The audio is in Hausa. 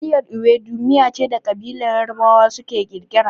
Miyar Ewedu miya ce da ƙabilar Yarabawa suka kirkira.